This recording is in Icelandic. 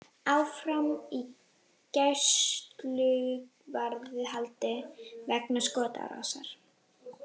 Áfram í gæsluvarðhaldi vegna skotárásar